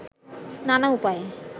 নানা উপায়ে